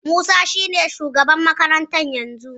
Musa shine shugaban makarantar yanzu.